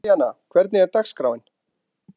Elíanna, hvernig er dagskráin?